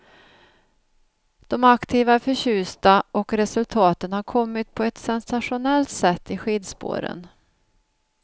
De aktiva är förtjusta och resultaten har kommit på ett sensationellt sätt i skidspåren.